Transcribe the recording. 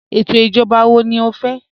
Étò ijọ̀ba wọ̀ ní ọ fẹ́?